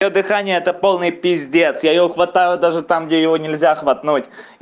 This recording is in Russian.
то дыхание это полный пиздец я её хватаю даже там где его нельзя хватнуть